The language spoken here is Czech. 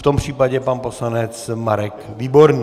V tom případě pan poslanec Marek Výborný.